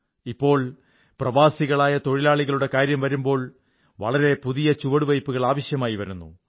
ഇപ്പോൾ പ്രവാസികളായ തൊഴിലാളികളുടെ കാര്യം കാണുമ്പോൾ വളരെ പുതിയ ചുവടുവയ്പ്പുകൾ ആവശ്യമായി വരുന്നു